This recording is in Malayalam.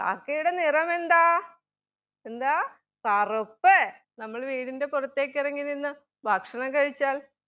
കാക്കയുടെ നിറമെന്താ? എന്താ? കറുപ്പ് നമ്മൾ വീടിൻ്റെ പുറത്തെക്ക് ഇറങ്ങി നിന്ന് ഭക്ഷണം കഴിച്ചാൽ